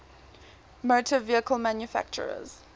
motor vehicle manufacturers